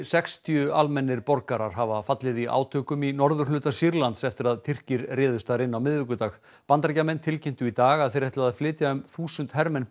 sextíu almennir borgarar hafa fallið í átökum í norðurhluta Sýrlands eftir að Tyrkir réðust þar inn á miðvikudag Bandaríkjamenn tilkynntu í dag að þeir ætli að flytja um þúsund hermenn